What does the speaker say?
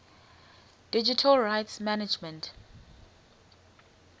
digital rights management